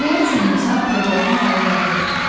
Nə üçün insan təbiətin ali varlığıdır?